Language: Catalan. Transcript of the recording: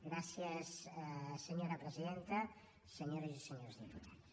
gràcies senyora presidenta senyores i senyors diputats